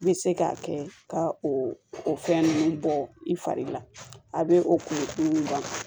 N bɛ se k'a kɛ ka o fɛn ninnu bɔ i fari la a bɛ o kunkolo fini dilan